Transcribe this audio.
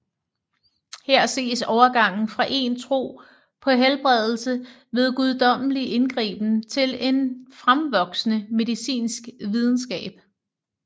Her ses overgangen fra en tro på helbredelse ved guddommelig indgriben til en fremvoksende medicinsk videnskab